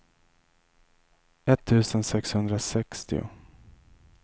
etttusen sexhundrasextio